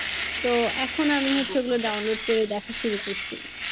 তো এখন আমি হচ্ছে ওগুলো download করে দেখা শুরু করছি।